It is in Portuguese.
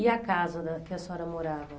E a casa da que a senhora morava